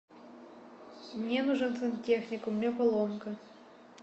мне нужен сантехник у меня поломка